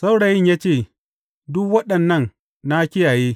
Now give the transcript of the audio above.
Saurayin ya ce, Duk waɗannan na kiyaye.